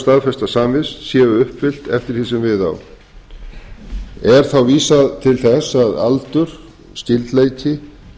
staðfesta samvist séu uppfyllt eftir því sem við á er þá vísað til þess að aldur skyldleiki